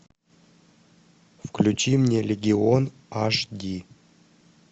включи мне легион эйч ди